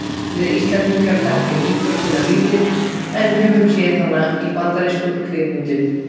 við íslendingar þekkjum íþróttina lítið en höfum séð hana í bandarískum kvikmyndum